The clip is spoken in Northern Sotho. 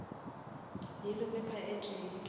yellow pepper e tee